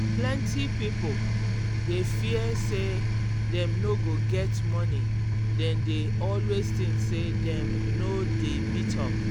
plenty pipo dey fear say dem no go get money dem dey always think say dem no dey meet up.